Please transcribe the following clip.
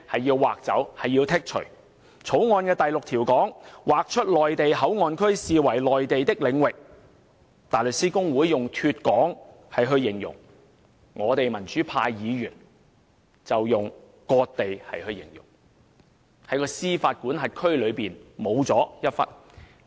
根據《條例草案》第6條，被劃出的內地口岸區視為內地領域，大律師公會用"脫港"來形容，而我們民主派議員則用"割地"來形容，即香港的司法管轄區少了一部分。